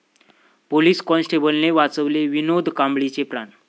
police कॉन्स्टेबलने वाचवले विनोद कांबळीचे प्राण